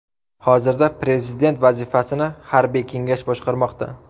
Hozirda prezident vazifasini harbiy kengash boshqarmoqda.